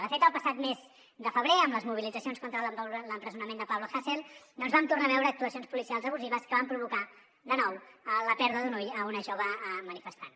de fet el passat mes de febrer amb les mobilitzacions contra l’empresonament de pablo hasél vam tornar a veure actuacions policials abusives que van provocar de nou la pèrdua d’un ull a una jove manifestant